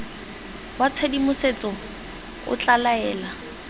wa tshedimosetso o tla laela